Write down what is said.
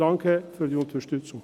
Danke für die Unterstützung.